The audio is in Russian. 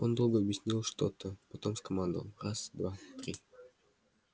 он долго объяснял что-то потом скомандовал раз два три